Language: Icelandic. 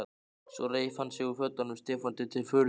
Svo reif hann sig úr fötunum, Stefáni til furðu.